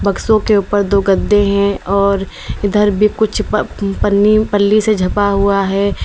सो के ऊपर दो गड्ढे हैं और इधर भी कुछ पनी पली से झपा हुआ है।